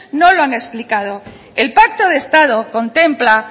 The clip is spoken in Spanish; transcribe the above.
no lo han explicado el pacto de estado contempla